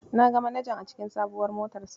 Na ga manajan a cikin sabuwar motarsa.